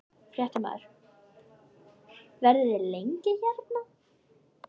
Fréttamaður: Verðið þið lengi hérna?